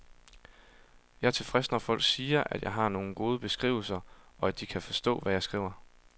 Jeg er tilfreds, når folk siger, at jeg har nogle gode beskrivelser, og at de kan forstå, hvad jeg skriver.